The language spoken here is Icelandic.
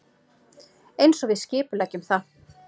Einsog við skipuleggjum það.